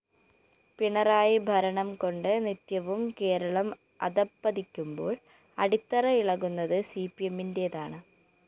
പിണറായി ഭരണംകൊണ്ട് നിത്യവും കേരളം അധപ്പതിക്കുമ്പോള്‍ അടിത്തറ ഇളകുന്നത് സിപിഎമ്മി‌ന്റേതാണ്